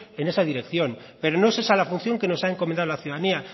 en esa dirección pero no es esa la función que nos ha encomendado la ciudadanía